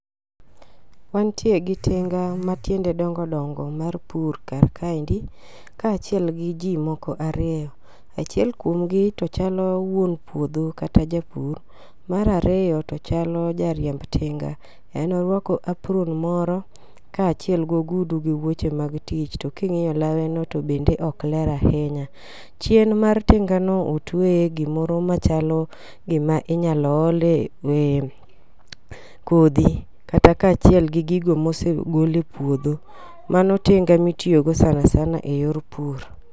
Wantie gi tinga matiende dongodongo mar pur kar kaendi kachiel gi jii moko ariyo. Achiel kuomgi tochalo wuon puodho kata japur, mar ariyo to chalo jariemb tinga, en orwako apron moro kaachiel gogudu gi wuoche mag tich to king'iyo lawe no to bende ok ler ahinya. Chien mar tinga no otweye gimoro machalo giminya ole kodhi kata kachiel gi gigo mosegol e puodho mano tinga mitiyo go sana sana e yor pur.